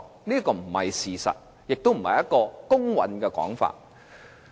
這並非事實，亦並非公允的說法。